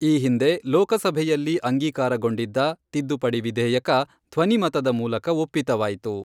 ಈ ಹಿಂದೆ ಲೋಕಸಭೆಯಲ್ಲಿ ಅಂಗೀಕಾರಗೊಂಡಿದ್ದ , ತಿದ್ದುಪಡಿ ವಿಧೇಯಕ ಧ್ವನಿಮತದ ಮೂಲಕ ಒಪ್ಪಿತವಾಯಿತು.